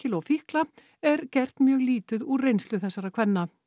og fíkla er gert mjög lítið úr reynslu þessara kvenna